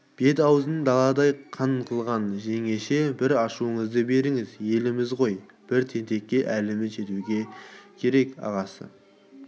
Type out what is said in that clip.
бет-аузын даладай қан қылған жеңеше бір ашуыңызды беріңіз елміз ғой бір тентекке әліміз жетуге керек асасы